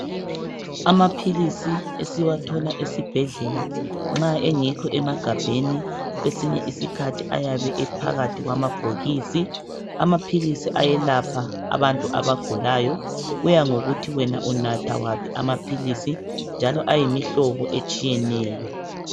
Amaphilisi esiwathola esibhedlela nxa engekho emagabheni kwesinye isikhathi ayabe ephakathi kwamabhokisi. Amaphilisi ayelapha abantu abagulayo. Kuya ngokuthi wena unatha aphi amaphilisi njalo ayimihlobo etshiyeneyo.